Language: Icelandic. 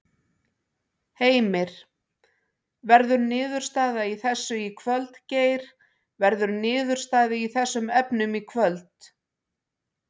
Heimir: Verður niðurstaða í þessu í kvöld Geir, verður niðurstaða í þessum efnum í kvöld?